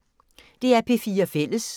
DR P4 Fælles